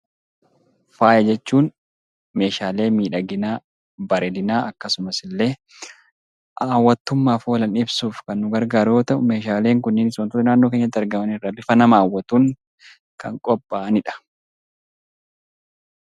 Faaya jechuun meeshaalee miidhaginaa, bareedinaa akkasumas illee hawwattummaaf oolan ibsuuf kan nu gargaaru yoo ta'u, meeshaaleen kunis wantoota naannoo keenyatti argaman irraa bifa nama hawwatuun kan qophaa'ani dha.